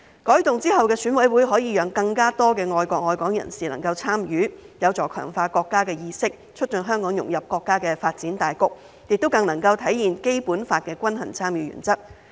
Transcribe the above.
改動後的選委會可以讓更多愛國愛港人士參與，有助強化國家意識，促進香港融入國家的發展大局，亦能更體現《基本法》的均衡參與原則。